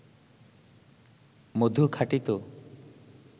মধু খাঁটি তো